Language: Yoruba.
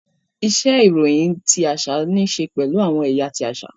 Iṣe iroyin ti aṣa nii ṣe pẹlu awọn ẹya ti aṣa.